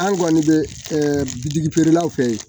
An kɔni bɛ bi feerelaw fɛ yen